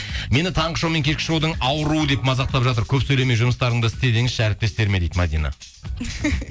мені таңғы шоу мен кешкі шоудың ауруы деп мазақтап жатыр көп сөйлемей жұмыстарыңды істе деңізші әріптестеріме дейді мәдина